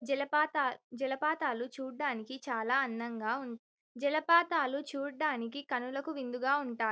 జలపాతాలు చూడటానికి చాల అందగా ఉంటాయి జలపాతాలు చూడటానికి కనులకు విందుగా ఉంటాయి --.